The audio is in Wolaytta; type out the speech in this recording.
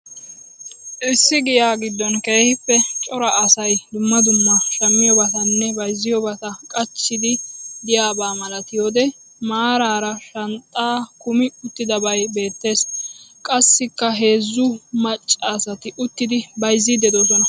Issi giya gidon keehiippe cora asay dumma dumma shamiyobaatanne bayzziyobata qachchiidi diyaaba malattiyode maarara shanxxaa kumi uttidabay beettees. Qassikka heezzu maccasati uttidi bayzziidi doosona.